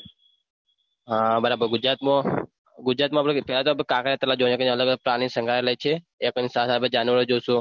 હા બરાબર ગુજરાતમો ગુજરાત મો આપને પેલા તો આપડે કાંકરિયા તળાવ જોઈએ અલગ અલગ પ્રનીસંગ્રાલય છે